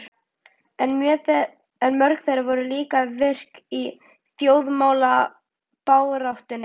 En mörg þeirra voru líka virk í þjóðmálabaráttunni.